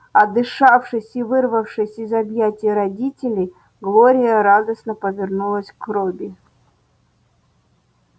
отдышавшись и вырвавшись из объятий родителей глория радостно повернулась к робби